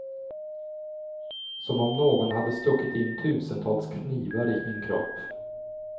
Som om någon hade stuckit in tusentals knivar i min kropp.